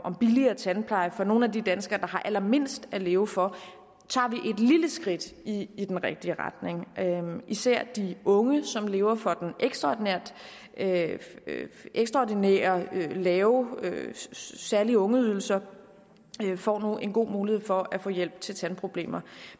billigere tandpleje for nogle af de danskere der har allermindst at leve for tager vi et lille skridt i i den rigtige retning især de unge som lever for den ekstraordinær lave ekstraordinær lave særlige ungeydelse får nu en god mulighed for at få hjælp til tandproblemer